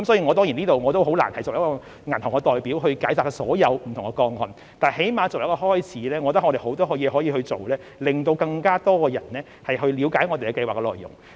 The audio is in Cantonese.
我很難在此以一個銀行代表的身份解答所有不同個案的問題，但最低限度作為一個開始，我們有很多工作可以做，讓更多人了解我們的計劃內容。